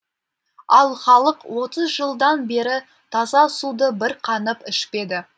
ал халық отыз жылдан бері таза суды бір қанып ішпеді